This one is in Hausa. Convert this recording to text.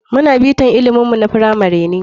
Muna bnita ilimin mu na firamari ne.